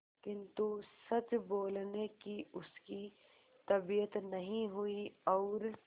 किंतु सच बोलने की उसकी तबीयत नहीं हुई और